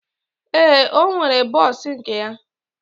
Ee, ọ nwere bọs nke ya.